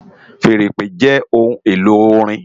Fèèrè ìpè jè óhùn-éló órin